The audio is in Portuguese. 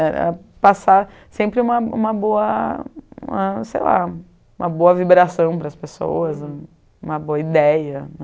Era era passar sempre uma uma boa, sei lá, uma boa vibração para as pessoas, uma boa ideia.